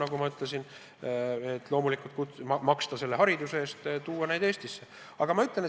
Aga loomulikult tuleb ka Eestil selle hariduse eest maksta.